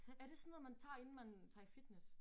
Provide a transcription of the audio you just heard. Er det sådan noget man tager inden man tager i fitness?